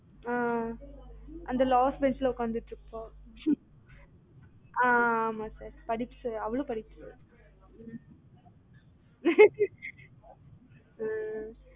ஆஹ் அந்த last bench ல உக்கந்துட்டுருப்பா ஹம் ஆஹ் ஆமா sir படிப்ஸ் அவளும் படிப்ஸ் தான sir ம்